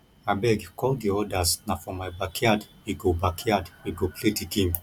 abeg call the others na for my backyard we go backyard we go play the game